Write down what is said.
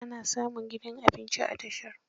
Ana samun gidan abinci a tasha.